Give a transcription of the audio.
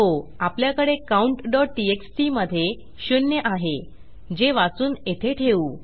हो आपल्याकडे countटीएक्सटी मधे शून्य आहे जे वाचून येथे ठेवू